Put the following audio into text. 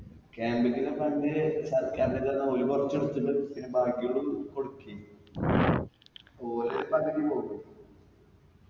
camp ക്കുള്ള fund സർക്കാരിൻറെടുത്തുന്ന് ഓല് കൊറച്ച് എടുത്തിട്ട് പിന്ന ബാക്കിയുള്ളത് കൊടുക്കീം ഓര് പകുതി പോവുലെ